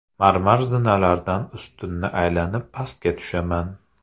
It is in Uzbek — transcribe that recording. Marmar zinalardan ustunni aylanib pastga tushaman.